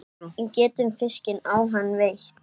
Getum fiskinn á hann veitt.